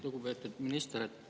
Lugupeetud minister!